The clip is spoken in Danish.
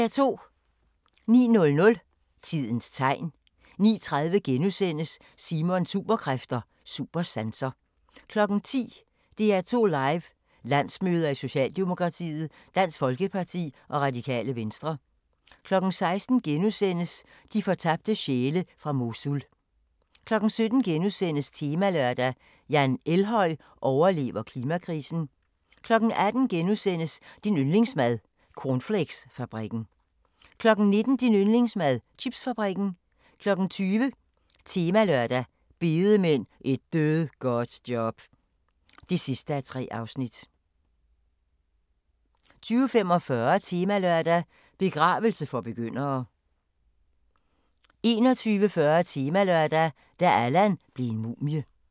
09:00: Tidens Tegn 09:30: Simons Superkræfter: Supersanser * 10:00: DR2 Live: Landsmøder i Socialdemokratiet, Dansk Folkeparti og Radikale Venstre 16:00: De fortabte sjæle fra Mosul * 17:00: Temalørdag: Jan Elhøj overlever klimakrisen * 18:00: Din yndlingsmad: Cornflakesfabrikken * 19:00: Din yndlingsmad: Chipsfabrikken 20:00: Temalørdag: Bedemænd – Et dødgodt job (3:3) 20:45: Temalørdag: Begravelse for begyndere 21:40: Temalørdag: Da Allan blev en mumie